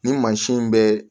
Nin mansin in bɛ